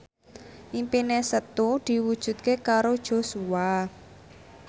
impine Setu diwujudke karo Joshua